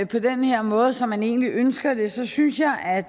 på den her måde som man egentlig ønsker det så synes jeg at